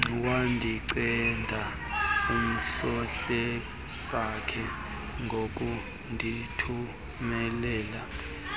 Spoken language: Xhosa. wandinceda uhlohlesakhe ngokundithumelela